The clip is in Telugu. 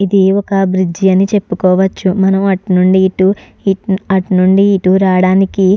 ఇది ఒక బ్రిడ్జి అని చెప్పుకోవచ్చు. మనం అటు నుండి ఇటు ఇట్ అటు నుండి ఇటు రావడానికి --